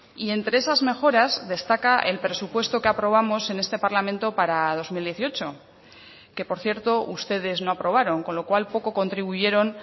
y entre esas mejoras destaca el presupuesto que aprobamos en este parlamento para dos mil dieciocho que por cierto ustedes no aprobaron con lo cual poco contribuyeron